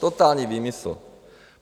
Totální výmysl.